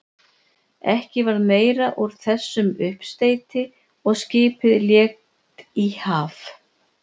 Ekki varð meira úr þessum uppsteyti og skipið lét í haf.